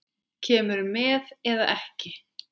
Kemurðu með eða ekki.